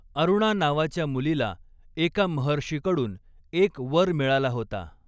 अरूणा नावाच्या मुलीला एका महर्षीकडून एक वर मिळाला होता.